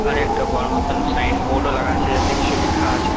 আরেকটা বড়ো মতন সাইন বোর্ড -ও লাগানো আছে যাতে কিছু লেখা আছে।